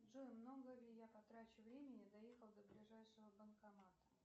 джой много ли я потрачу времени доехав до ближайшего банкомата